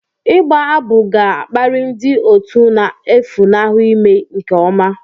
Ịgba abụ ga-akpali ndị otu na-efunahụ ime nke ọma